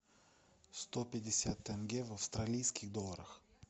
сто пятьдесят тенге в австралийских долларах